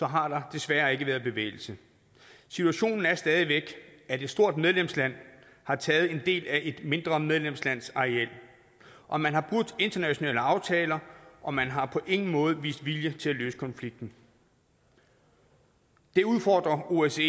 har der desværre ikke været bevægelse situationen er stadig væk at et stort medlemsland har taget en del af et mindre medlemslands areal og man har brudt internationale aftaler og man har på ingen måde vist vilje til at løse konflikten det udfordrer osce